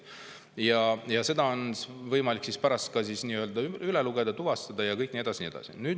Ja seda on võimalik pärast ka üle lugeda, kõik tuvastada ja nii edasi, ja nii edasi.